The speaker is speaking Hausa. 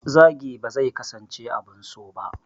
Zagi ba zai kasance abin so ba.